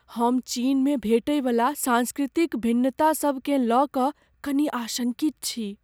हम चीनमे भेंटयवला सांस्कृतिक भिन्नता सभकेँ लय कऽ कनि आशङ्कित छी।